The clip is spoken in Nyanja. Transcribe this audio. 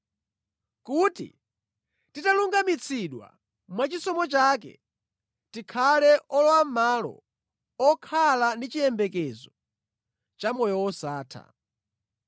kuti titalungamitsidwa mwachisomo chake, tikhale olowamʼmalo okhala ndi chiyembekezo cha moyo wosatha.